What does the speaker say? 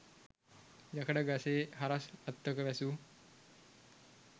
යකඩ ගසේ හරස් අත්තක වැසූ